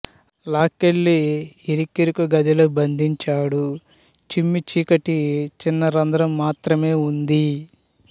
లాక్కెళ్లి ఇరుకిరుకు గదిలో బంధించాడు చిమ్మచీకటి చిన్న రంధ్రం మాత్రమే ఉంది